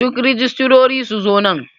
Duk rijistirori su zo nan.